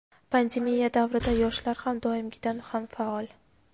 Pandemiya davrida yoshlar har doimgidan ham faol!.